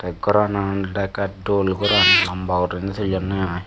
tey goranan olodey ekka dol goran lamba guriney thullonne i.